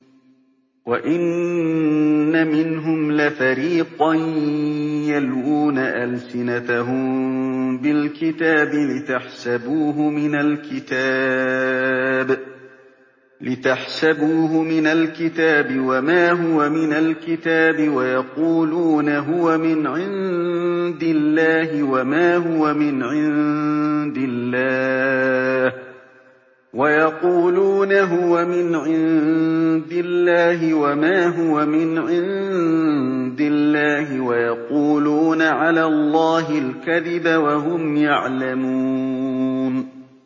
وَإِنَّ مِنْهُمْ لَفَرِيقًا يَلْوُونَ أَلْسِنَتَهُم بِالْكِتَابِ لِتَحْسَبُوهُ مِنَ الْكِتَابِ وَمَا هُوَ مِنَ الْكِتَابِ وَيَقُولُونَ هُوَ مِنْ عِندِ اللَّهِ وَمَا هُوَ مِنْ عِندِ اللَّهِ وَيَقُولُونَ عَلَى اللَّهِ الْكَذِبَ وَهُمْ يَعْلَمُونَ